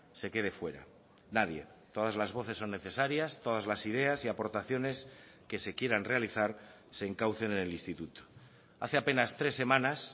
se quede fuera nadie todas las voces son necesarias todas las ideas y aportaciones que se quieran realizar se encaucen en el instituto hace apenas tres semanas